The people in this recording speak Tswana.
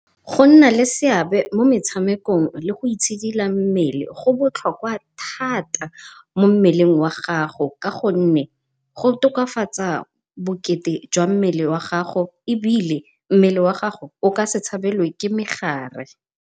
Go nna le seabe mo metshamekong le go itshidila mmele go botlhokwa thata mo mmeleng wa gago, ka gonne go tokafatsa bokete jwa mmele jwa mmele wa gago ebile mmele wa gago o ka se tshabelelwe ke megare.